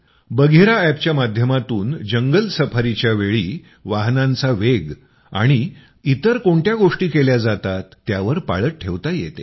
बघीरा अॅपच्या माध्यमातून जंगल सफारीच्यावेळी वाहनाचा वेग आणि इतर कोणत्या गोष्टी केल्या जातात त्यावर पाळत ठेवता येते